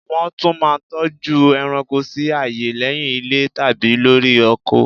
Nwọ́n tún mà n toju eranko si aaye lé̩hiń ilé tàbí lori oko